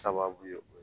Sababu ye o ye